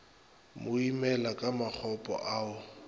mo imela ka makgopo ao